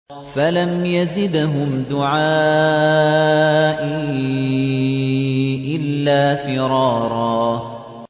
فَلَمْ يَزِدْهُمْ دُعَائِي إِلَّا فِرَارًا